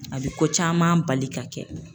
A bi ko caman bali ka kɛ.